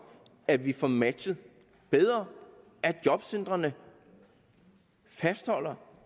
at vi får matchet bedre at jobcentrene fastholder